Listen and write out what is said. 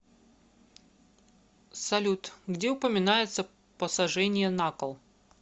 салют где упоминается посажение на кол